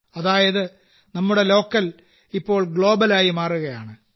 അതായത് നമ്മുടെ ലോക്കൽ ഇപ്പോൾ ഗ്ലോബലായി മാറുകയാണ്